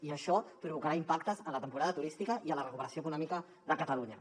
i això provocarà impactes en la temporada turística i en la recuperació econòmica de catalunya